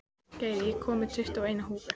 Geir, ég kom með tuttugu og eina húfur!